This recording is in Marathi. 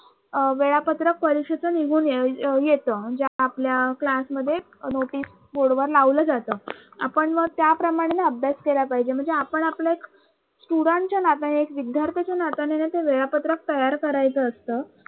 notice board वर लावलं जात आपण मग त्याप्रमाणे ना अभ्यास केला पाहिजे म्हणजे आपण आपलं एक student च्या नात्याने एक विद्यार्थाच्या नात्याने ना ते वेळापत्रक तयार करायचं असतं.